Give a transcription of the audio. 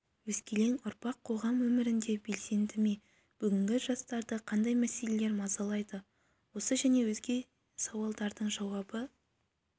өскелең ұрпақ қоғам өмірінде белсенді ме бүгінгі жастарды қандай мәселелер мазалайды осы және өзге сауалдардың жауабы